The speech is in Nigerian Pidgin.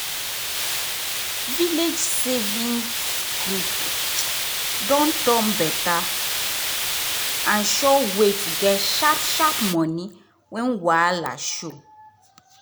village savings group don turn better and sure way to get sharp sharp money when wahala show.